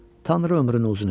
Tanrı ömrünü uzun eləsin.